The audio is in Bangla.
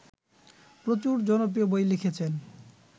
প্রচুর জনপ্রিয় বই লিখেছেন